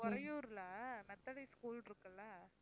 உறையூர்ல Methodist school இருக்குல்ல